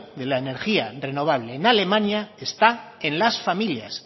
de la energía renovable en alemania está en las familias